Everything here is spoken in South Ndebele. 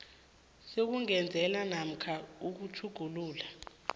sokungezelela namkha sokutjhugulula